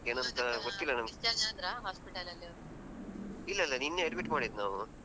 discharge ಅದ್ರ hospital ಅಲ್ಲಿ ಅವ್ರು?